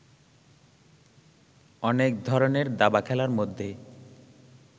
অনেক ধরণের দাবা খেলার মধ্যে